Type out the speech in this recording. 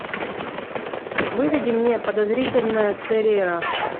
выведи мне подозрительная церера